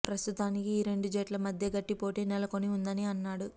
ప్రస్తుతానికి ఈ రెండు జట్ల మధ్యే గట్టి పోటీ నెలకొని ఉందని అన్నాడు